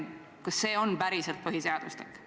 Kas see on päriselt põhiseaduslik?